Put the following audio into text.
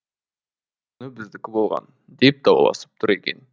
алдың күні біздікі болған деп дауласып тұр екен